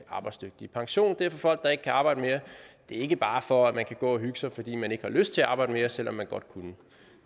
arbejdsdygtige pension er for folk der ikke kan arbejde mere det er ikke bare for at man kan gå og hygge sig fordi man ikke har lyst til at arbejde mere selv om man godt kunne